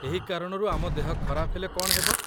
ଏହି କାରଣରୁ ଆମ ଦେହ ଖରାପ ହେଲେ କ'ଣ ହେବ?